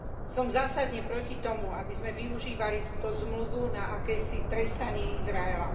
Som zásadne proti tomu, aby sme využívali túto zmluvu na akési trestanie Izraela.